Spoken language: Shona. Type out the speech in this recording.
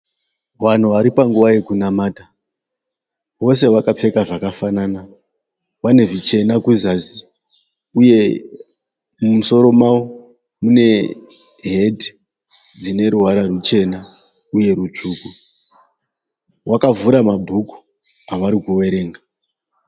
Vanhu vatipanguva yekunamata. Vose vakapfeka zvakafanana. Vanezvichena kuzasi uye mumusoro mavo mune heti dzineruvara rwuchena uye rutsvuku. Vakavhura mabhuku avarikuverenga.